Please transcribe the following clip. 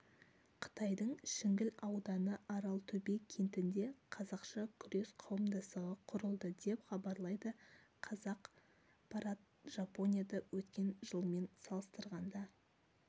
қытайдың шіңгіл ауданы аралтөбе кентінде қазақша күрес қауымдастығы құрылды деп хабарлайды қазақпарат жапонияда өткен жылмен салыстырғанда